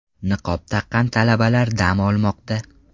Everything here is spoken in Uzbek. Niqob taqqan talabalar dam olmoqda.